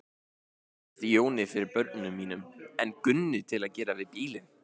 Ég treysti Jóni fyrir börnunum mínum en Gunnu til að gera við bílinn.